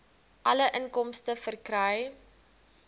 alle inkomste verkry